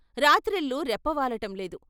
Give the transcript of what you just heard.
రాత్రిళ్ళు రెప్పవాలటం లేదు.